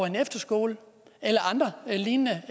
en efterskole eller andre lignende